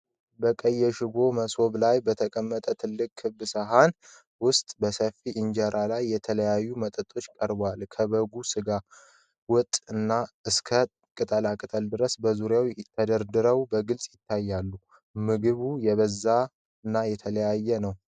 በቀይ የሽቦ መሶብ ላይ በተቀመጠ ትልቅ ክብ ሳህን ውስጥ በሰፊ እንጀራ ላይ የተለያዩ ወጦች ቀርበዋል። ከበጉ ሥጋ ወጥ እስከ ቅጠላ ቅጠል ድረስ በዙሪያው ተደርድረው በግልጽ ይታያሉ። ምግቡ የበዛና የተለያየ ነው።